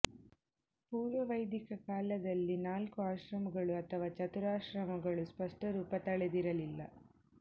ಪೂರ್ವ ವೈಧಿಕ ಕಾಲದಲ್ಲಿ ನಾಲ್ಕು ಆಶ್ರಮಗಳು ಅಥವಾ ಚತುರಾಶ್ರಮಗಳು ಸ್ಪಷ್ಟರೂಪ ತಳೆದಿರಲಿಲ್ಲ